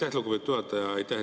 Aitäh, lugupeetud juhataja!